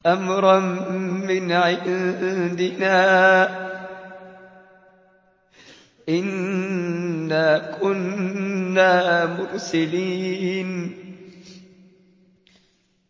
أَمْرًا مِّنْ عِندِنَا ۚ إِنَّا كُنَّا مُرْسِلِينَ